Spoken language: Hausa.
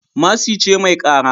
Mercy ce mai kara